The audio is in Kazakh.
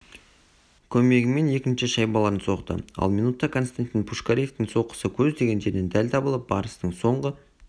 көмегімен екінші шайбаларын соқты ал минутта константин пушкаревтің соққысы көздеген жерінен дәл табылып барыстың соңғы